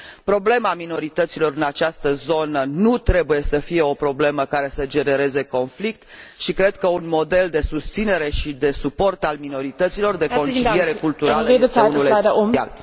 Problema minorităților în această zonă nu trebuie să fie o problemă care să genereze conflict și cred că un model de susținere și de suport al minorităților, de conciliere culturală, este unul esențial.